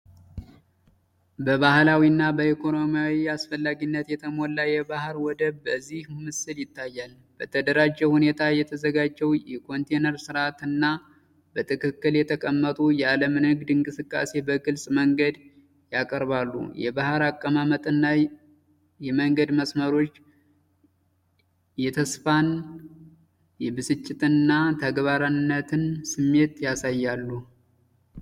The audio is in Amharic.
በባህላዊ እና በኢኮኖሚያዊ አስፈላጊነት የተሞላ የባሕር ወደብ በዚህ ምስል ይታያል። በተደራጀ ሁኔታ የተዘጋጀው የኮንቴነር ስርዓት እና በትክክል የተቀመጡ የአለም ንግድ እንቅስቃሴን በግልጽ መንገድ ያቀርባሉ። የባሕር አቀማመጥ እና የመንገድ መስመሮች የተስፋን፣ የብስጭትን እና የተግባራዊነትን ስሜት ያሳያሉ።